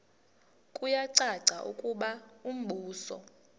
kuyacaca ukuba umbuso